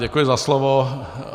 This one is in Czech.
Děkuji za slovo.